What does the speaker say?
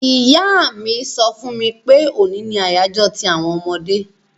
Ìyá mi so fún mi pe òní ni àyájó ti àwon ọmọdé